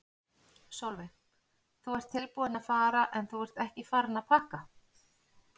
Sólveig: Þú ert tilbúinn að fara en þú ert ekki farinn að pakka?